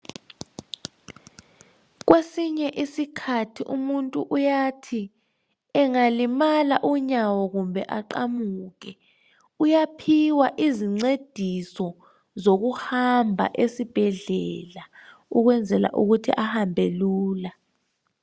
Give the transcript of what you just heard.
Kwesinye isikhathi umuntu uyathi engalimala unyawo kumbe aqamuke uyaphiwa izincediso zokuhamba esibhedlela ukwenzela ukuthi ahambe lula.